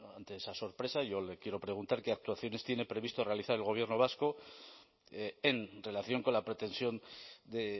ante esa sorpresa yo le quiero preguntar qué actuaciones tiene previsto realizar el gobierno vasco en relación con la pretensión de